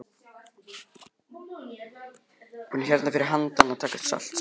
Við erum hérna fyrir handan að taka salt, sagði Bjarni.